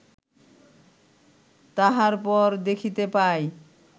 তাহার পর দেখিতে পাই